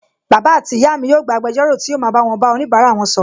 Bàbá àti ìyá mi yóò gba agbẹjọ́rò tí yóò ma bá wọn bá onibara wọn sọ̀rọ̀